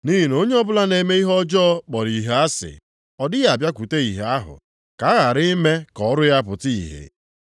Nʼihi na onye ọbụla na-eme ihe ọjọọ kpọrọ ìhè ahụ asị, ọ dịghị abịakwute ìhè ahụ, ka a ghara ime ka ọrụ ya pụta ìhè.